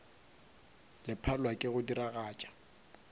le palelwa ke go diragatša